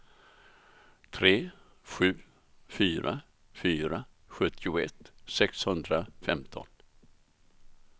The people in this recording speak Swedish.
tre sju fyra fyra sjuttioett sexhundrafemton